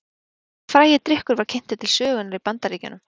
Hvaða frægi drykkur var kynntur til sögunnar í Bandaríkjunum?